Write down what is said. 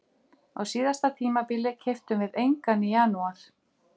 Á síðasta tímabili keyptum við engan í janúar.